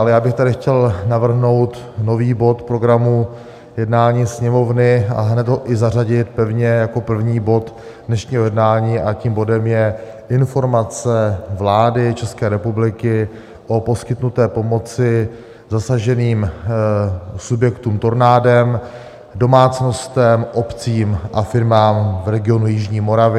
Ale já bych tady chtěl navrhnout nový bod programu jednání Sněmovny a hned ho i zařadit pevně jako první bod dnešního jednání, a tím bodem je Informace vlády České republiky o poskytnuté pomoci zasaženým subjektům tornádem, domácnostem, obcím a firmám v regionu jižní Moravy.